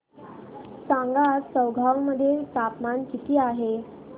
सांगा आज चौगाव मध्ये तापमान किता आहे